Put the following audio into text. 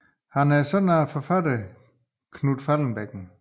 Han er søn af forfatteren Knut Faldbakken